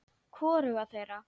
Hvoruga þeirra.